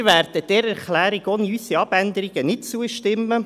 Wir werden dieser Erklärung ohne unsere Abänderungen nicht zustimmen.